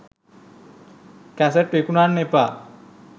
cassette විකුණන්න එපා